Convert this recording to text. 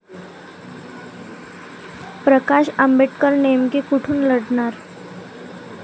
प्रकाश आंबेडकर नेमके कुठून लढणार?